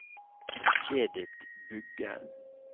Edith Bugge